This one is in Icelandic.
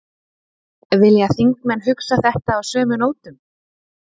Vilja þingmenn hugsa þetta á sömu nótum?